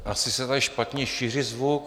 Asi se tady špatně šíří zvuk.